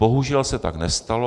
Bohužel se tak nestalo.